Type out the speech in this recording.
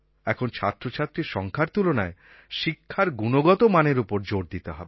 এখন ছাত্রছাত্রীর সংখ্যার তুলনায় শিক্ষার গুণগত মানের ওপর জোর দিতে হবে